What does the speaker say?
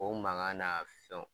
O mangan n'a fɛnw